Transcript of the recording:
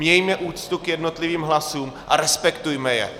Mějme úctu k jednotlivým hlasům a respektujme je.